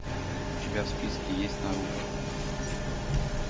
у тебя в списке есть наруто